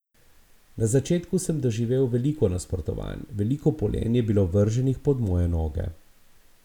Na začetku sem doživel veliko nasprotovanj, veliko polen je bilo vrženih pod moje noge.